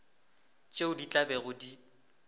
tšeo di tla bego di